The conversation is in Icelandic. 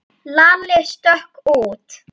Lalli stökk út.